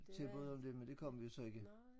Tilbud om det men det kom vi så ikke